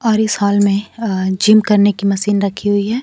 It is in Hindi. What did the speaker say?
और इस हॉल में अह जिम करने की मशीन रखी हुई है।